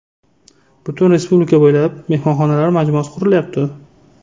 Butun respublika bo‘ylab mehmonxonalar majmuasi qurilyapti.